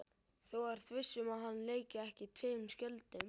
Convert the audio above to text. Þú ert viss um að hann leiki ekki tveim skjöldum?